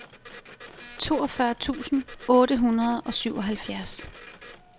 toogfyrre tusind otte hundrede og syvoghalvfjerds